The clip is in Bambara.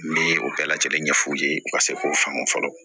Ne ye o bɛɛ lajɛlen ɲɛ f'u ye u ka se k'o faamu fɔlɔ